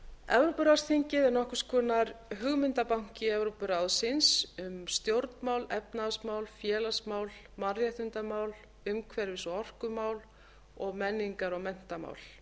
evrópuráðsþingið er nokkurs konar hugmyndabanki evrópuráðsins um stjórnmál efnahagsmál félagsmál mannréttindamál umhverfis og orkumál og menningar og menntamál